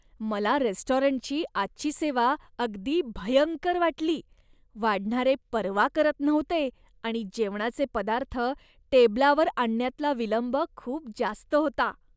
मला रेस्टॉरंटची आजची सेवा अगदी भयंकर वाटली. वाढणारे पर्वा करत नव्हते आणि जेवणाचे पदार्थ टेबलावर आणण्यातला विलंब खूप जास्त होता.